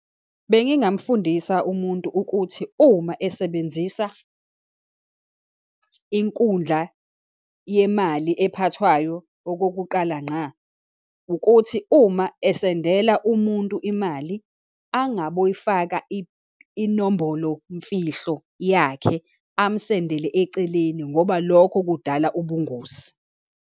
Bengingamfundisa umuntu ukuthi uma esebenzisa inkundla yemali ephathwayo okokuqala ngqa, ukuthi uma esendela umuntu imali angaboyifaka inombolomfihlo yakhe, amsendele eceleni ngoba lokho kudala ubungozi.